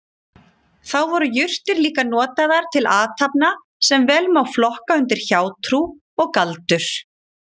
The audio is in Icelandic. Þá voru jurtir líka notaðar til athafna sem vel má flokka undir hjátrú og galdur.